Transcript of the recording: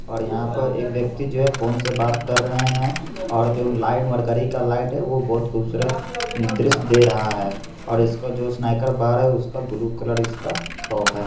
और यहाँ पर एक व्यक्ति जो है फोन से बात कर रहे हैं और जो लाइट मर्करी का लाइट वो बहुत खूबसूरत दृश्य दे रहा है। और इसका जो स्नेकर बार है उसका ब्लू कलर इसका टॉप है।